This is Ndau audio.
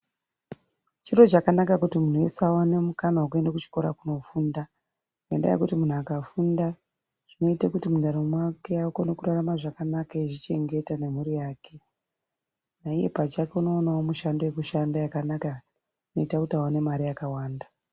Chiro chakanaka kuti munhu wese awane mukana wekuende kuchikora kofunda. Ngendaya yekuti muntu akafunda zvinoite kuti mundaramo mwake akone kurarama zvakanaka eizvi chengeta nemhuri yake. Naiye pachake unowanawo mushando yekushanda yakanaka inoita kuti aone mare yakawanda.